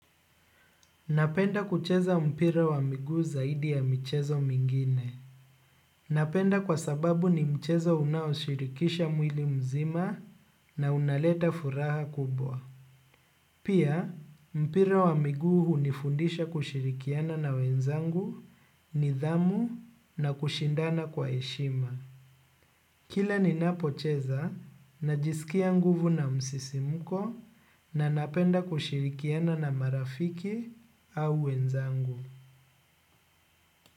Napenda kucheza mpira wa miguu zaidi ya michezo mingine. Napenda kwa sababu ni mchezo unaoshirikisha mwili mzima na unaleta furaha kubwa. Pia, mpira wa miguu hunifundisha kushirikiana na wenzangu nidhamu na kushindana kwa heshima. Kila ninapocheza, najisikia nguvu na msisimuko na napenda kushirikiana na marafiki au wenzangu.